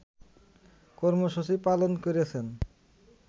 কর্মসূচি পালন করেছেন